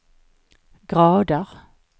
grader